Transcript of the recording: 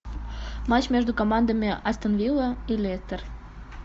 матч между командами астон вилла и лестер